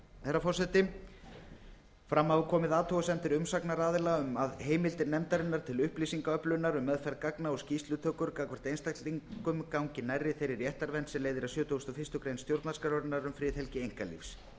herra forseti fram hafa komið athugasemdir umsagnaraðila um að heimildir nefndarinnar til upplýsingaöflunar um meðferð gagna og um skýrslutökur gagnvart einstaklingum gangi nærri þeirri réttindavernd sem leiðir af sjötugasta og fyrstu grein stjórnarskrárinnar um friðhelgi einkalífs